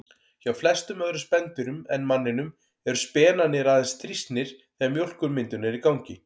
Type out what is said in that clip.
Hjá flestum öðrum spendýrum en manninum eru spenarnir aðeins þrýstnir þegar mjólkurmyndun er í gangi.